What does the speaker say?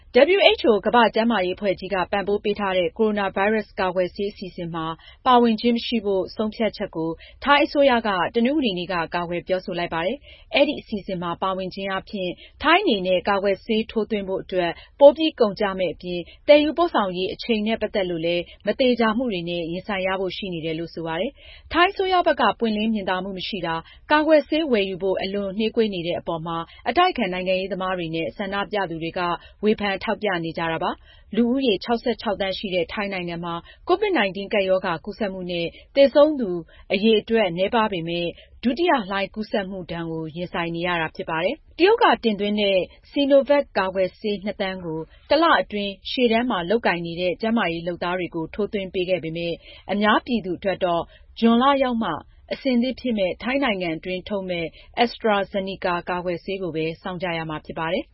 WHO ကမ္ဘာ့ကျန်းမာရေးအဖွဲ့ကြီးက ပံ့ပိုးပေးထားတဲ့ ကိုရိုနာဗိုင်းရပ်စ် ကာကွယ်ဆေး အစီအစဉ်မှာ ပါဝင်ခြင်းမရှိဖို့ ဆုံးဖြတ်ချက်ကို ထိုင်းအစိုးရက တနင်္ဂနွေနေ့က ကာကွယ်ပြောဆိုလိုက်ပါတယ်။ အဲဒီအစီအစဉ်မှာ ပါဝင်ခြင်းအားဖြင့် ထိုင်းအနေနဲ့ ကာကွယ်ဆေးထိုးသွင်းဖို့ အတွက် ပိုပြီးကုန်ကျမယ့်အပြင် သယ်ယူပို့ဆောင်ရေးအချိန်နဲ့ ပတ်သက်ရင်လည်း မသေချာမှုတွေနဲ့ ရင်ဆိုင်ရဖို့ရှိနေတယ်လို့ ဆိုပါတယ်။ ထိုင်းအစိုးရဘက်က ပွင့်လင်းမြင်သာမှုမရှိတာ၊ ကာကွယ်ဆေးဝယ်ယူဖို့ အလွန်နှေးကွေးနေတဲ့အပေါ် မှာ အတိုက်အခံနိုင်ငံရေးသမားတွေနဲ့ ဆန္ဒပြသူတွေက ဝေဖန်ထောက်ပြနေကြတာပါ။ လူဦးရေ ၆၆ သန်းရှိတဲ့ ထိုင်းနိုင်ငံမှာ ကိုဗစ်-၁၉ ကပ်ရောဂါ ကူးစက်မှုနဲ့သေဆုံးမှု အရေအတွက် နည်းပါးပေမဲ့ ဒုတိယလှိုင်းကူးစက်မှုကို ရင်ဆိုင်နေရတာဖြစ်ပါတယ်။ တရုတ်က တင်သွင်းတဲ့ Sinovac ကာကွယ်ဆေး ၂ သန်းကို တလအတွင်း ရှေ့တန်းမှာလုပ်ကိုင်နေတဲ့ ကျန်းမာရေးလုပ်သားတွေကို ထိုးသွင်းပေးခဲ့ပေမယ့်၊ အများပြည်သူတွေအတွက်တော့ ဇွန်လရောက်မှ အဆင်သင့်ဖြစ်မယ့် ထိုင်းနိုင်ငံအတွင်း ထုတ်မယ့် AstraZeneca ကာကွယ်ဆေးကို စောင့်ကြရမှာဖြစ်ပါတယ်